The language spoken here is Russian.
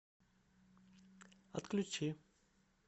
отключи